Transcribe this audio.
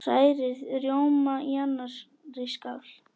Hrærið rjóma í annarri skál.